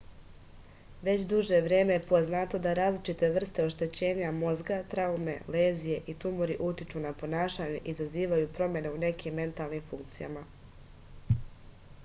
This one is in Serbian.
već duže vreme je poznato da različite vrste oštećenja mozga traume lezije i tumori utiču na ponašanje i izazivaju promene u nekim mentalnim funkcijama